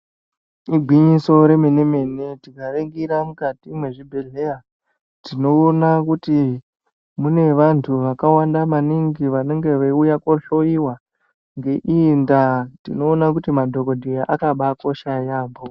Igwinyiso remene-mene, tikaringira mukati mwezvibhedhleya tinoona kuti mune vantu vakawanda maningi vanenge veiuya kohloiwa. Ngeiyi ndaa tinoona kuti madhogodheya akabakosha yaambo.